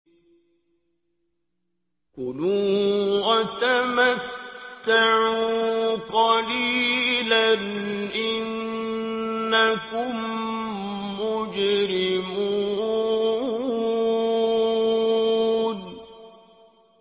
كُلُوا وَتَمَتَّعُوا قَلِيلًا إِنَّكُم مُّجْرِمُونَ